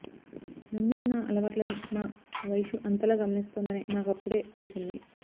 నన్నూ నా అలవాట్లనీ మా వైషూ అంతలా గమనిస్తోందని నాకప్పుడే తెలిసింది